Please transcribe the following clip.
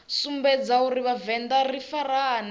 sumbedza uri vhavenḓa ri farane